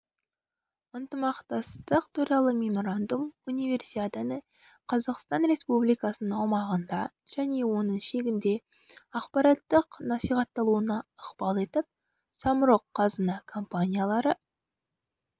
ынтымақтастық туралы меморандум универсиаданы қазақстан республикасының аумағында және оның шегінде ақпараттық насихатталуына ықпал етіп самұрық-қазына компаниялары